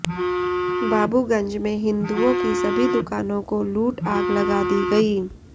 बाबूगंज में हिन्दुओ की सभी दुकानों को लूट आग लगा दी गयी